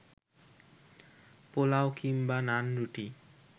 পোলাও কিংবা নানরুটি